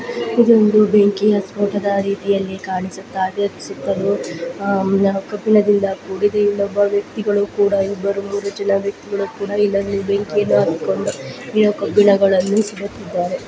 ಇದೊಂದು ಬೆಂಕಿಯ ಸ್ಪೋಟದ ರೀತಿಯಲ್ಲಿ ಕಾಣಿಸುತ್ತಿದೆ ಸುತ್ತಲೂ ಆ ಮ ಕಬ್ಬಿಣದಿಂದ ಕೂಡಿದೆ ಇಲ್ಲೊಬ್ಬ ವ್ಯಕ್ತಿಗಳು ಕೂಡ ಇಬ್ಬರು ಮೂವರು ಜನ ವ್ಯಕ್ತಿಗಳು ಕೂಡ ಇಲ್ಲಿ ಒಂದು ಬೆಂಕಿಯನ್ನು ಹತ್ತಿಕೊಂಡು ಕಬ್ಬಿಣವನ್ನು ಸುಡುತ್ತಿದ್ದರೆ.